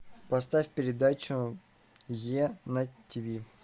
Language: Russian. поставь передачу е на тиви